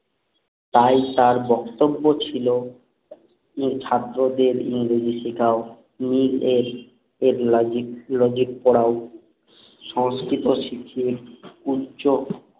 তাই তার বক্তব্য ছিল ছাত্রদের ইংরেজি শিখাও মেয়েদের এক লজিক লজিক পোড়াও সংস্কৃত শিখিয়ে উচ্চ